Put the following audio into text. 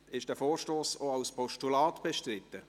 Ist der Vorstoss als Postulat bestritten?